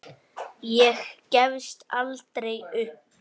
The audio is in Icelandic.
Ég gefst aldrei upp.